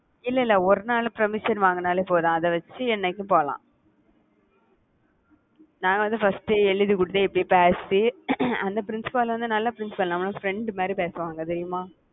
இல்லை இல்லை ஒரு நாள் permission வாங்கினாலே போதும். அதை வச்சு என்னைக்கும் போலாம். நாங்க வந்து first ஏ எழுதிக் கொடுத்தேன் அந்த principal வந்து நல்ல principal அவங்க friend மாதிரி பேசுவாங்க தெரியுமா